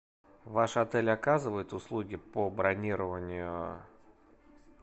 ваш отель оказывает услуги по бронированию